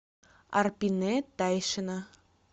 арпинэ тайшина